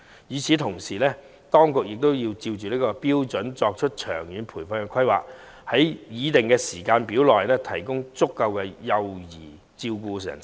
與此同時，當局須按此標準作出長遠的培訓規劃，按擬定的時間表提供足夠幼兒照顧人手。